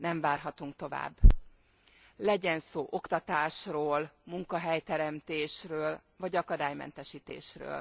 Nem várhatunk tovább, legyen szó oktatásról, munkahelyteremtésről vagy akadálymentesítésről.